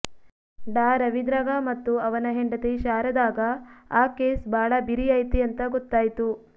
ಡಾ ರವೀಂದ್ರಗ ಮತ್ತು ಅವನ ಹೆಂಡತಿ ಶಾರದಾಗ ಆ ಕೇಸ್ ಬಾಳ ಬಿರಿ ಐತಿ ಅಂತ ಗೊತ್ತಾಯ್ತು